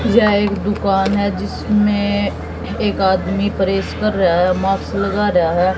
जय एक दुकान है जिसमें एक आदमी प्रेस कर रहा है माक्स लगा रहा है।